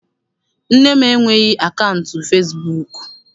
Nne m enweghị akaụntụ fesibuuku.